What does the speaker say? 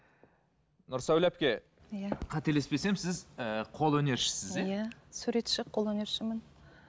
нұрсәуле әпке иә қателеспесем сіз ііі қолөнершісіз иә иә суретші қолөнершімін